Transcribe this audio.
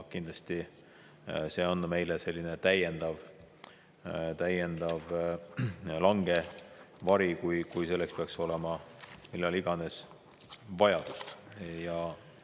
Kindlasti see on meile täiendav langevari, kui selle järele peaks millal iganes vajadust olema.